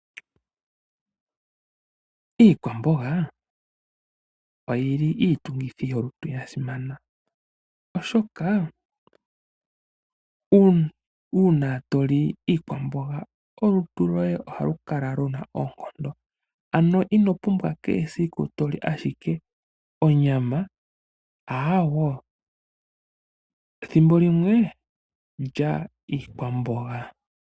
Iikwamboga oyina iitungithilutu yasimana, oshoka uuna to li iikwamboga olutu loye ohalu kala luna oonkondo. Ino pumbwa kehe esiku toli ashike onyama aaawe thimbo limwe lya iikwamboga.